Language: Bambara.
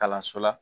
Kalanso la